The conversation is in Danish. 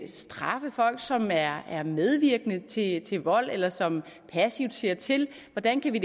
straffe folk som er er medvirkende til til vold eller som passivt ser til hvordan kan vi